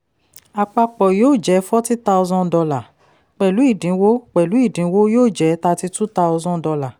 àpapọ̀ yóò jẹ́ forty thousand dollars; pẹ̀lú ìdínwó pẹ̀lú ìdínwó yóò jẹ́ thirty-two thousand dollars